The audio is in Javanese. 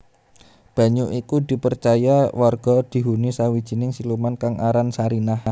Banyu iku dipercaya warga dihuni sawijining siluman kang aran Sarinah